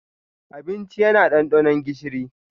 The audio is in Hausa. Abincina yana ɗanɗano gishiri.